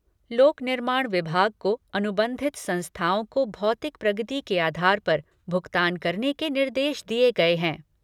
लोक निर्माण विभाग को अनुबंधित संस्थाओं को भौतिक प्रगति के आधार पर भुगतान करने के निर्देश दिये गए हैं।